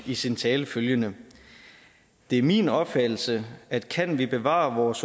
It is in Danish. i sin tale følgende det er min opfattelse at kan vi bevare vores